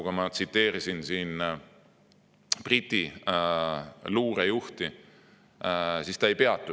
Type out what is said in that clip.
Sama ütles ka Briti luurejuht, keda ma tsiteerisin.